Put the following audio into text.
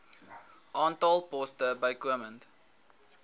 aantal poste bykomend